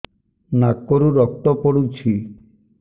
ନାକରୁ ରକ୍ତ ପଡୁଛି